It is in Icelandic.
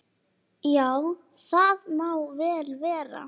Já, það má vel vera.